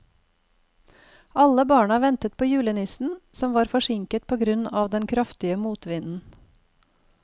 Alle barna ventet på julenissen, som var forsinket på grunn av den kraftige motvinden.